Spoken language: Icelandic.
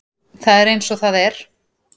Það er eins og það er.